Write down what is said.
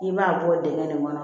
I b'a bɔ dingɛ nin kɔnɔ